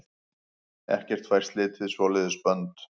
Ekkert fær slitið svoleiðis bönd.